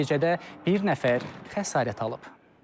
Nəticədə bir nəfər xəsarət alıb.